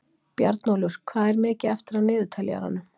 Bjarnólfur, hvað er mikið eftir af niðurteljaranum?